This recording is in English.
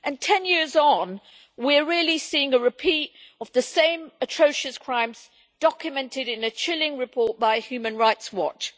Ten years on, we are really seeing a repeat of the same atrocious crimes documented in a chilling report by Human Rights Watch.